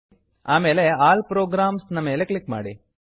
ಆಮೇಲೆ all programs all programs ನ ಮೇಲೆ ಕ್ಲಿಕ್ ಮಾಡಿ